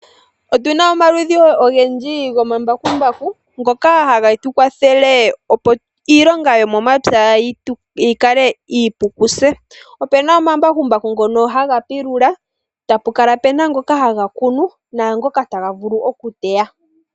Otuna omaludhi ogendji gomambakumbaku, ngoka hage tu kwathele opo iilonga yomomapya yi kale iipu kutse. Opuna omambakumbaku ngono haga yugula, tapu kala puna ngoka haga kunu, naangoka haga vulu okuteya.